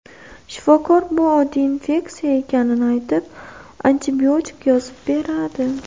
Shifokor bu oddiy infeksiya ekanini aytib, antibiotik yozib beradi.